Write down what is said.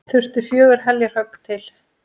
Þurfti fjögur heljarhögg til.